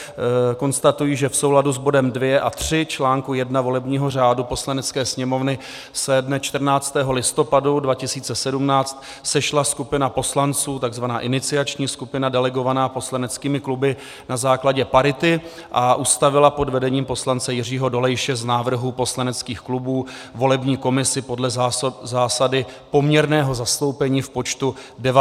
Konstatuji, že v souladu s bodem 2 a 3 článku 1 volebního řádu Poslanecké sněmovny se dne 14. listopadu 2017 sešla skupina poslanců, takzvaná iniciační skupina delegovaná poslaneckými kluby na základě parity, a ustavila pod vedením poslance Jiřího Dolejše z návrhů poslaneckých klubů volební komisi podle zásady poměrného zastoupení v počtu 19 členů.